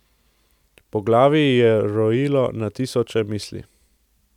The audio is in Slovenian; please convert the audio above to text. Po glavi ji je rojilo na tisoče misli.